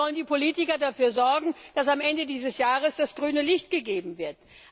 Also sollen die Politiker dafür sorgen, dass am Ende dieses Jahres grünes Licht gegeben wird.